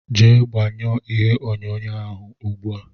Jee gbanyuo ìhè onyonyo ahụ ùgbúà!!!!